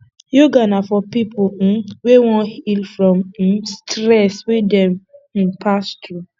yoga na for pipo um wey won heal from um stress wey dem um pass through